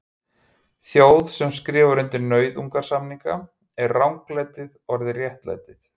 Þjóð sem skrifar undir nauðungarsamninga, er ranglætið orðið réttlæti?